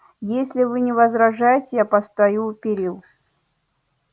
если вы не возражаете я постою у перил